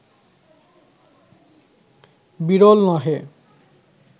বিরল নহে